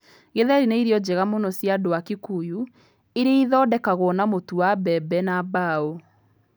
Githeri nĩ irio njega mũno cia andũ a Kikuyu iria ithondekagwo na mũtu wa mbembe na mbaũ.